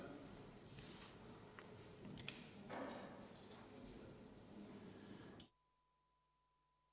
Istungi lõpp kell 17.50.